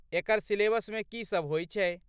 एकर सिलेबसमे की सब होई छै?